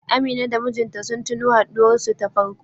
Amina da mijinta sun tuno haɗuwar su ta farko.